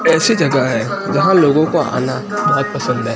ऐसी जगह है जहां लोगों को आना बहोत पसंद है।